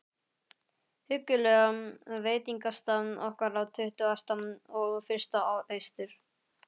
huggulega veitingastað okkar á Tuttugasta og fyrsta Austur